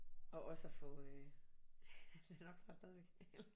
Og også at få den optager stadigvæk